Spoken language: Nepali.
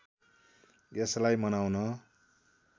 यसलाई मनाउन